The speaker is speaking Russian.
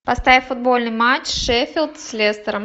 поставь футбольный матч шеффилд с лестером